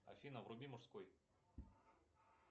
афина вруби мужской